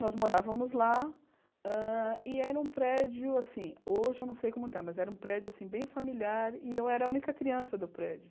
Nós morávamos lá hã e era um prédio, hoje eu não sei como está, mas era um prédio assim bem familiar e eu era a única criança do prédio.